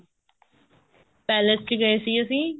palace ਚ ਗਏ ਸੀ ਅਸੀਂ